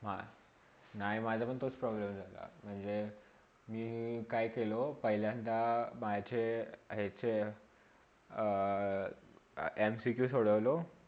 नाही माझा पण तोच problem झाला म्हणजे मी काय केलो पहिल्यांदया माझ्या यहाचे अ MCQ सोडोवला